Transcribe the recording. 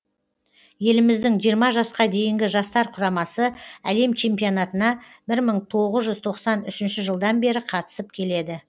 еліміздің жиырма жасқа дейінгі жастар құрамасы әлем чемпионатына бір мың тоғыз жүз тоқсан үшінші жылдан бері қатысып келеді